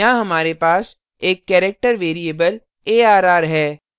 यहाँ हमारे पास एक character variable arr है